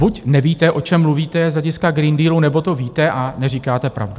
Buď nevíte, o čem mluvíte, z hlediska Green Dealu, nebo to víte a neříkáte pravdu.